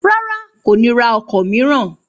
Rárá, kò ní ra ọkọ̀ mìíràn